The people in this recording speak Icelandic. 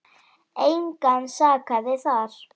Engan sakaði þar.